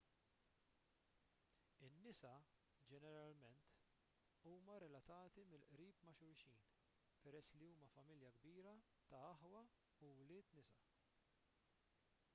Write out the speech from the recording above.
in-nisa ġeneralment huma relatati mill-qrib ma' xulxin peress li huma familja kbira ta' aħwa u wlied nisa